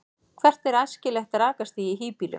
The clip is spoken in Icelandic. hvert er æskilegt rakastig í hýbýlum